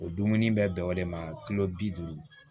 O dumuni bɛ bɛn o de ma kulo bi duuru